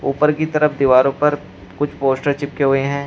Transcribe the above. ऊपर की तरफ दीवारों पर कुछ पोस्टर चिपके हुए हैं।